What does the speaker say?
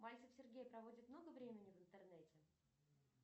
мальцев сергей проводит много времени в интернете